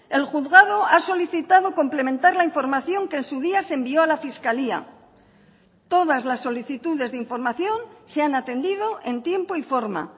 el juzgado ha solicitado complementar la información que en su día se envió a la fiscalía todas las solicitudes de información se han atendido en tiempo y forma